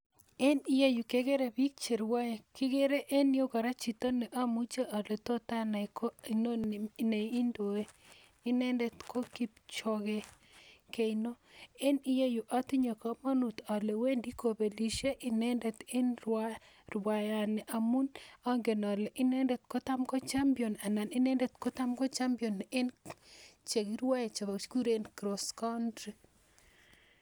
En iyeu kegere biik cherwoe. Kigere en iyeu kora chito ne amuche ale tot anai ko inoni ne indoe. Inendet ko Kipchoge Keino. En ireyu atinye kamanut ale wendi kopelisie inendet en rwaiyani amu angen ale inendet kotam ko champion en chekirwae che kikuren cross country